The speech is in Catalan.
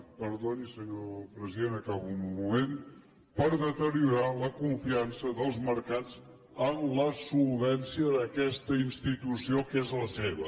perdoni senyor president acabo en un moment per deteriorar la confiança dels mercats en la solvència d’aquesta institució que és la seva